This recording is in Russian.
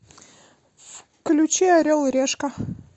включи орел и решка